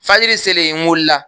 Fajiri selen n wulila